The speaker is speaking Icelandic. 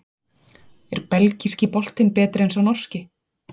Er Belgíski boltinn betri en sá Norski?